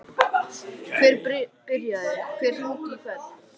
Kristján Már Unnarsson: Hver byrjaði, hver hringdi í hvern?